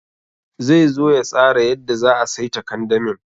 Zai zo ya tsara yadda za a saita kandamin.